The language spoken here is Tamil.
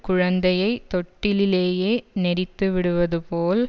குழந்தையை தொட்டிலிலேயே நெரித்துவிடுவது போல்